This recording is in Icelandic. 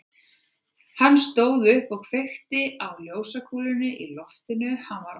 Hann stóð upp og kveikti á ljósakúlunni í loftinu, hann var óhress.